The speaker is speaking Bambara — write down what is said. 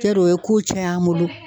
o ye ko caya an bolo